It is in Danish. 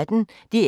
DR P1